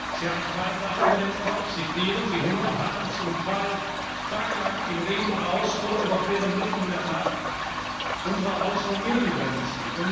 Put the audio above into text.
Sie haben kein Dach über dem Kopf, sie frieren, sie hungern, harren zum Teil tagelang im Regen aus oder überqueren mitten in der Nacht unsere Außen und Innengrenzen.